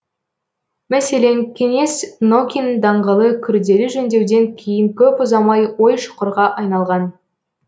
мәселен кеңес нокин даңғылы күрделі жөндеуден кейін көп ұзамай ой шұқырға айналған